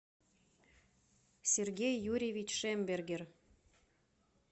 сергей юрьевич шембергер